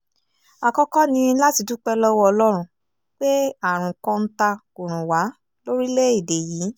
àkọ́kọ́ ni láti dúpẹ́ lọ́wọ́ ọlọ́run pé àrùn kọ́ńtà kò rùn wá lórílẹ̀‐èdè yìí